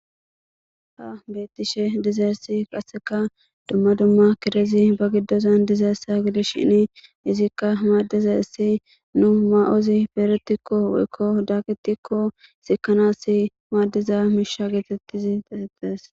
Haa betishshe dizayiss qasekka dumma dumma kirezzi ba giddozanni dizayiss gidishshinn izzikka madizayissa nuu mayozzi pedhdhetikko woyikko dakettikko sikanass madiza mishsha getetiz eretees.